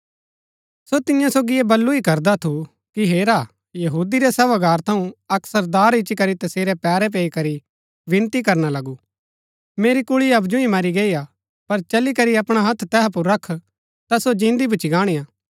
सो तियां सोगी ऐह बल्लू ही करदा थु कि हेरा यहूदी रै सभागार थऊँ अक्क सरदार इच्ची करी तसेरै पैरै पैई करी विनती करना लगू मेरी कुल्ळी हबजु ही मरी गई हा पर चली करी अपणा हत्थ तैहा पुर रख ता सो जिन्दी भूच्ची गाणीआ